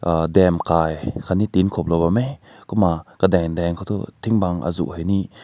uh dam kai aakat ne din ko bam meh kumna na kadang to tink bam aazu ne.